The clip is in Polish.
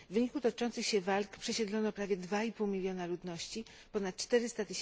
W wyniku toczących się walk przesiedlono prawie 2,5 miliona ludności, ponad 400